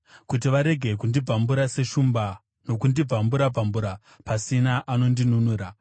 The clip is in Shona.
kuti varege kundibvambura seshumba nokundibvambura-bvambura pasina anondinunura.